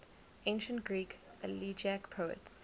ancient greek elegiac poets